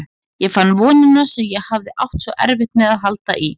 Ég fann vonina sem ég hafði átt svo erfitt með að halda í.